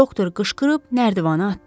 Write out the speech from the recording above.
Doktor qışqırıb nərdivanı atdı.